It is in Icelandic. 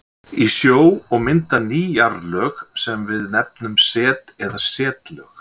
í sjó og mynda ný jarðlög sem við nefnum set eða setlög.